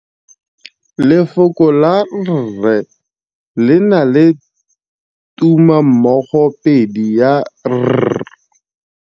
Lefoko la rre, le na le tumammogôpedi ya, r.